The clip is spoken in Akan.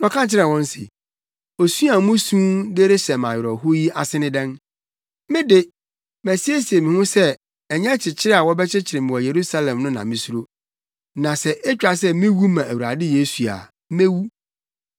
Na ɔka kyerɛɛ wɔn se, “Osu a musu de rehyɛ me awerɛhow yi ase ne dɛn? Me de, masiesie me ho sɛ ɛnyɛ kyekyere a wɔbɛkyekyere me wɔ Yerusalem no na misuro, na sɛ etwa sɛ miwu ma Awurade Yesu a, mewu.”